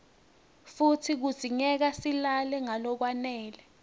futsi kudzingeka silale ngalokwanele